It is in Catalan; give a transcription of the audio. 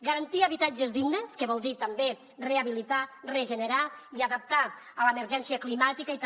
garantir habitatges dignes que vol dir també rehabilitar regenerar i adaptar a l’emergència climàtica i també